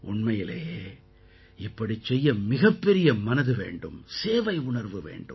உண்மையிலேயே இப்படிச் செய்ய மிகப்பெரிய மனது வேண்டும் சேவையுணர்வு வேண்டும்